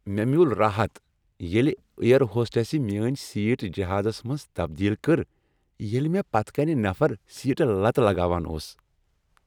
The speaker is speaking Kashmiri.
مےٚ میول راحت ییٚلہ ایر ہوسٹسہ میٲنۍ سیٹ جہازس منز تبدیل کٔر ییٚلہ مےٚ پتہٕ کنۍ نفر سیٹہ لتہٕ لگاوان اوس۔